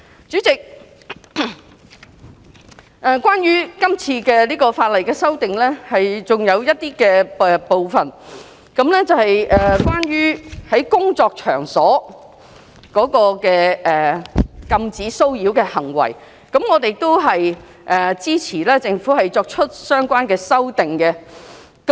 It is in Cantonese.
主席，這次法例的修訂還有一些部分，是關於在工作場所的禁止騷擾的行為，我們支持政府作出相關的修訂。